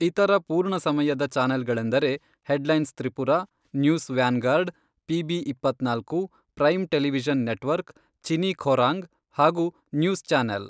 ಇತರ ಪೂರ್ಣ ಸಮಯದ ಚಾನೆಲ್ಗಳೆಂದರೆ headlines Tripura, news vanguard, PB ಇಪ್ಪತ್ನಾಲ್ಕು , prime television network, Chini Khorang ಹಾಗು ನ್ಯೂಸ್ ಚಾನೆಲ್.